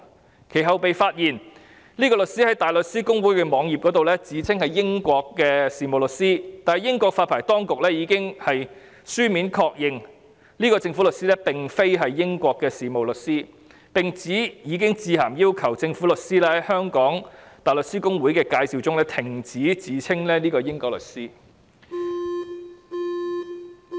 其後，這位律師被發現在香港大律師公會的網頁自稱是英國的事務律師，但英國發牌當局已經書面確認，這位政府律師並非英國的事務律師，並指已經致函要求該政府律師在香港大律師公會的網頁介紹中停止自稱為英國律師。